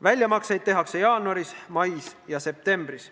Väljamakseid tehakse jaanuaris, mais ja septembris.